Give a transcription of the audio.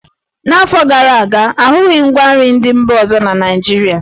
N'afọ gara aga, a hụghị ngwa nri ndị mba ọzọ na Naịjirịa.